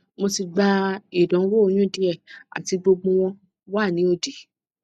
mo ti gba idanwo oyun die ati gbogbo won wa ni odi